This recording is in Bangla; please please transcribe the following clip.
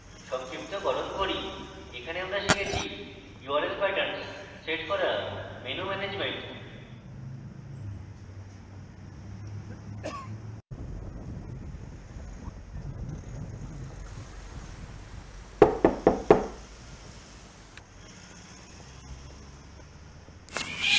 সংক্ষিপ্তকরণ করি in tutorial আমরা শিখেছি: url patterns let করা menu management